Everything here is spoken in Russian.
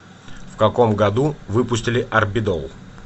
в каком году выпустили арбидол